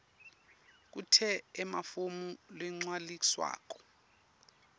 kute emafomu lagcwaliswako